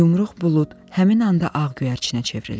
Yumruq bulud həmin anda ağ göyərçinə çevrildi.